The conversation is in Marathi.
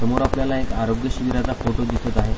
समोर आपल्याला एक आरोग्य शिबिराचा फोटो दिसत आहे.